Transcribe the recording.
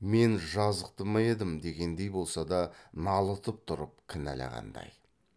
мен жазықты ма едім дегендей болса да налытып тұрып кіналағандай